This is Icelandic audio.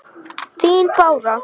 Þín Bára.